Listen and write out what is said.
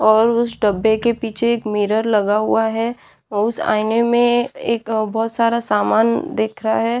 और उस डब्बे के पीछे एक मिरर लगा हुआ है अ उस आईने में एक बहुत सारा समान दिख रहा है।